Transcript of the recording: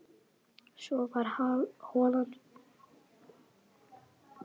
Svo varð holan full og harðtroðin, fólk tíndist burt.